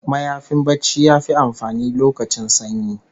Mayafin barci yafi amfani lokacin sanyi